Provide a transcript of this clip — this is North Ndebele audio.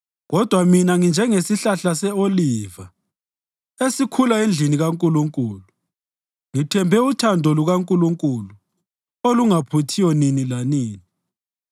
Kodwa mina nginjengesihlahla se-oliva esikhula endlini kaNkulunkulu; ngithembe uthando lukaNkulunkulu olungaphuthiyo nini lanini.